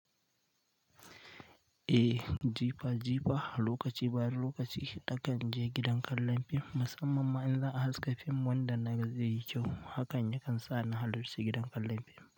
Eh jifa jifa lokaci bayan lokaci nakan je gidan kallon fim musamman ma in za a haska fim wanda na ga zai yi kyau hakan yakan sa na halarci gidan kallon fim.